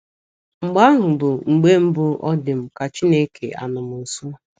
Mgbe ahụ bụ mgbe mbụ ọ dịm ka Chineke anọ m nso.